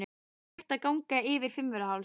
Það er hægt að ganga yfir Fimmvörðuháls.